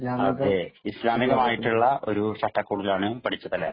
അതേ, ഇസ്ലാമികമായിട്ടുള്ള ഒരു ചട്ടകൂടിലാണ് പഠിച്ചത്. അല്ലെ?